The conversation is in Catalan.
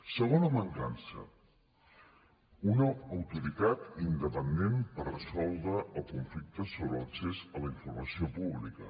segona mancança una autoritat independent per resoldre el conflicte sobre l’accés a la informació pública